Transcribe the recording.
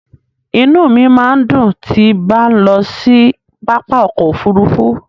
Inú mi máa ń dùn tí bá ń lọ sí pápá ọkọ̀ Òfurufú.